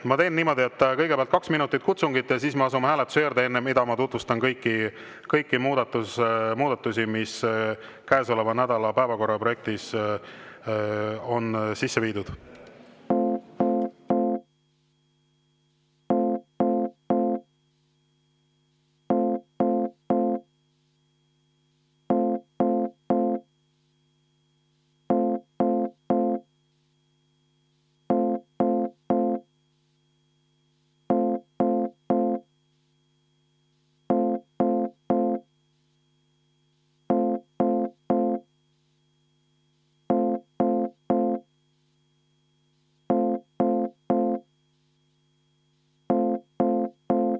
Ma teen niimoodi, et kõigepealt kaks minutit kutsungit ja siis me asume hääletuse juurde, enne mida ma tutvustan kõiki muudatusi, mis käesoleva nädala päevakorraprojektis on sisse viidud.